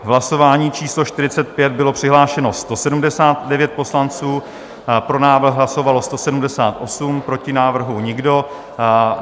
V hlasování číslo 45 bylo přihlášeno 179 poslanců, pro návrh hlasovalo 178, proti návrhu nikdo.